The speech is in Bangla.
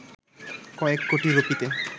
কয়েক কোটি রুপিতে